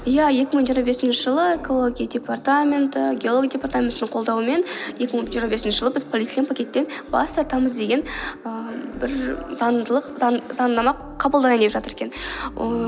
иә екі мың жиырма бесінші жылы экология департаменті геология департаментінің қолдауымен екі мың жиырма бесінші жылы біз полиэтилен пакеттен бас тартамыз деген ііі бір заңнама қабылдай деген жатыр екен ііі